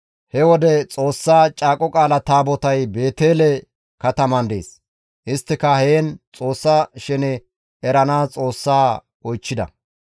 He wode Xoossa caaqo Taabotay Beetele kataman dees; isttika heen Xoossa shene eranaas Xoossaa oychchida;